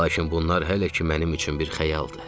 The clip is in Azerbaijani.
Lakin bunlar hələ ki mənim üçün bir xəyaldır.